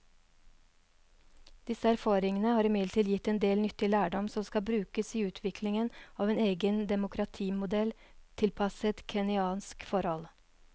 Disse erfaringene har imidlertid gitt en del nyttig lærdom som kan brukes i utviklingen av en egen demokratimodell tilpasset kenyanske forhold.